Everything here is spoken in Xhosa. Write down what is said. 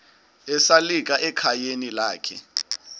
esalika ekhayeni lakhe